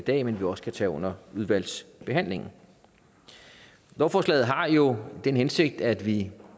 i dag men vi også kan tage under udvalgsbehandlingen lovforslaget har jo den hensigt at vi